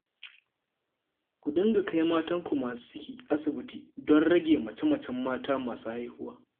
Ku dinga kai matanku masu ciki, asibiti don rage mace-macen mata masu haihuwa